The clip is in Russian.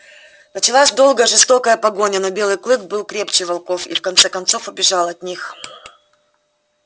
началась долгая жестокая погоня но белый клык был крепче волков и в конце концов убежал от них